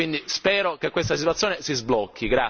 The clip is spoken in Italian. Quindi spero che questa situazione si sblocchi.